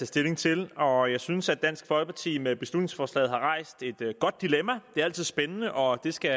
stilling til og jeg synes at dansk folkeparti med beslutningsforslaget har rejst et godt dilemma det er altid spændende og det skal